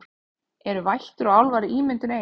Eru vættir og álfar ímyndun ein